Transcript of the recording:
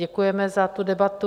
Děkujeme za tu debatu.